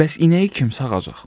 Bəs inəyi kim sağacaq?